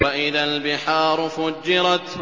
وَإِذَا الْبِحَارُ فُجِّرَتْ